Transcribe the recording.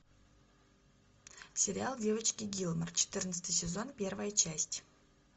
сериал девочки гилмор четырнадцатый сезон первая часть